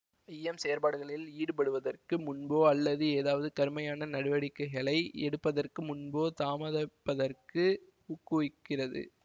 ஐயம் செயற்பாடுகளில் ஈடுபடுவதற்கு முன்போ அல்லது ஏதாவது கருமையான நடவடிக்கைகளை எடுப்பதற்கு முன்போ தாமதப்பதற்கு ஊக்குவிக்கிறது